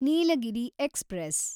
Nilgiri express